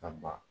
Ka ban